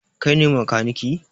Kai ne makaniki?